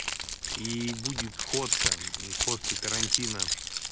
и будет сходка после карантина